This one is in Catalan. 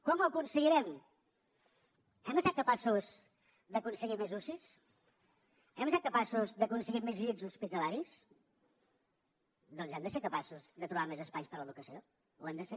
com ho aconseguirem hem estat capaços d’aconseguir més ucis hem estat capaços d’aconseguir més llits hospitalaris doncs hem de ser capaços de trobar més espais per a l’educació ho hem de ser